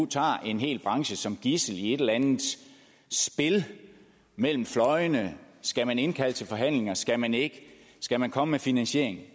tager en hel branche som gidsel i et eller andet spil mellem fløjene skal man indkalde til forhandlinger eller skal man ikke skal man komme med finansiering